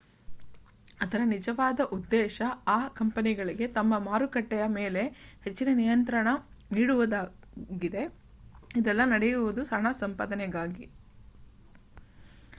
ಅದರ ನಿಜವಾದ ಉದ್ದೇಶ ಆ ಕಂಪನಿಗಳಿಗೆ ತಮ್ಮ ಮಾರುಕಟ್ಟೆಯ ಮೇಲೆ ಹೆಚ್ಚಿನ ನಿಯಂತ್ರಣ ನೀಡುವುದಾಗಿದೆ ಇದೆಲ್ಲ ನಡೆಯುವುದು ಹಣ ಸಂಪಾದನೆಗಾಗಿ